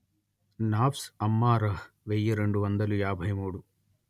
నాఫ్స్ అమ్మారహ్ వెయ్యి రెండు వందలు యాభై మూడు